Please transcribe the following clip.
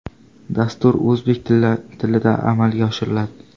Dastur o‘zbek tilida amalga oshiriladi.